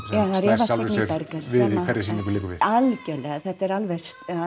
slær sjálfri sér við í hverri sýningu liggur við algjörlega þetta er alveg